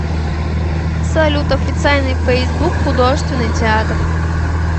салют официальный фейсбук художественный театр